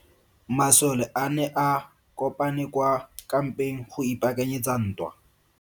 Masole a ne a kopane kwa kampeng go ipaakanyetsa ntwa.